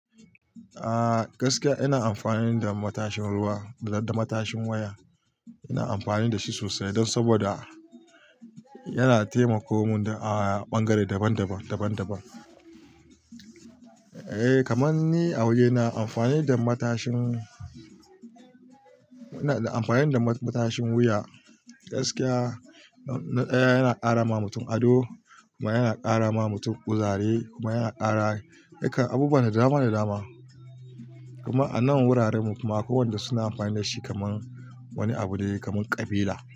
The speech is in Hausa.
A gaskiya ina amfani da matashin wuya da matashin waya. Ina amfani da shi sosai don saboda yana taimaka mun a ɓangare daban-daban. Eh kamar ni a waje ina amfani da matashin, ina amfani da matashin wuya gaskiya. Yana ƙara ma mutum ado kuma yana ƙara ma mutum kuzari kuma yana ƙara yakan abubuwa nadama nadama. Kuma a nan wuraren mu kuma kowanda suna amfani da shi kamar wani abu ne kamar ƙabila.